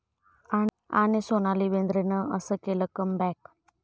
...आणि सोनाली बेंद्रेनं असं केलं 'कम बॅक'